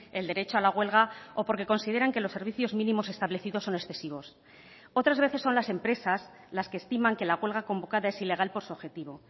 el derecho a la huelga o porque consideran que los servicios mínimos establecidos son excesivos otras veces son las empresas las que estiman que la huelga convocada es ilegal por su objetivo